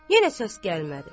Yenə səs gəlmədi.